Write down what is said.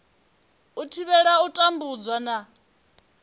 u thivhela u tambudzwa na